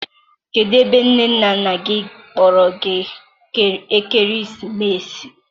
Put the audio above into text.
kedụ ebe nne na nna gị na-akpọrọ gị ekeresimesi a?